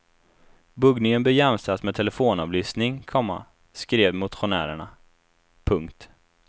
Buggningen bör jämställas med telefonavlyssning, komma skrev motionärerna. punkt